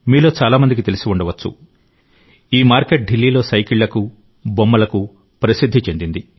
మీలో చాలామందికి తెలిసి ఉండవచ్చు ఈ మార్కెట్ ఢిల్లీలో సైకిళ్లకు బొమ్మలకు ప్రసిద్ది చెందింది